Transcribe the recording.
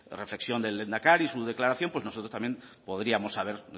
reflexión del lehendakari su declaración pues nosotros también podríamos haber